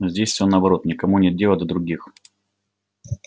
здесь всё наоборот никому нет дела до других